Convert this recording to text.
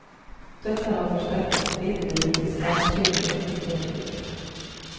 Dette har forsterket striden rundt de sakkyndige ytterligere.